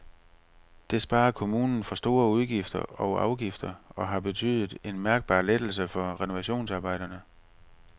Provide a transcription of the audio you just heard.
Det sparer kommunen for store udgifter og afgifter og har betydet en mærkbar lettelse for renovationsarbejderne.